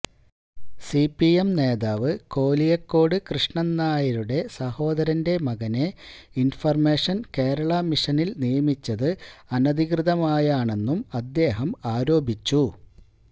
C P M നേതാവ് കോലിയക്കോട് കൃഷ്ണന്നായരുടെ സഹോദരന്റെ മകനെ ഇന്ഫര്മേഷന് കേരള മിഷനില് നിയമിച്ചത് അനധികൃതമായാണെന്നും അദ്ദേഹം ആരോപിച്ചു